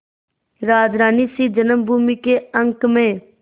राजरानीसी जन्मभूमि के अंक में